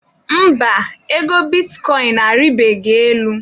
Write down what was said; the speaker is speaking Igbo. Mba, ego bitikọịn a rịbeghị elu.